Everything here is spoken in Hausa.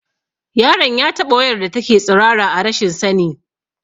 Yaron ya taɓa wayar da take tsirara a rashin sani